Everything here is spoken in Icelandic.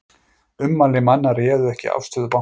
Ummæli manna réðu ekki afstöðu banka